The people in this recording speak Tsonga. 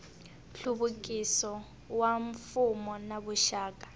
nhluvukiso wa mfuwo na vuxaka